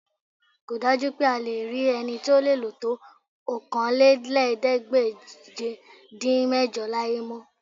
Kò dájú pé a lè rí ẹni tí ó lè lò tó Okòólélẹ́ẹ̀ẹ́dégbèje-dín-mẹ́jọ láyé mọ́